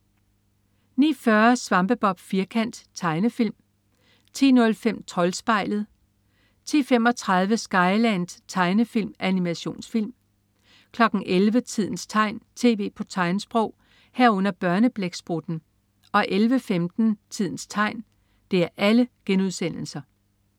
09.40 Svampebob Firkant.* Tegnefilm 10.05 Troldspejlet* 10.35 Skyland.* Tegnefilm/Animationsfilm 11.00 Tidens tegn, tv på tegnsprog* 11.00 Børneblæksprutten* 11.15 Tidens tegn*